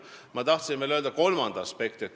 Ma tahtsin tuua esile veel kolmanda aspekti.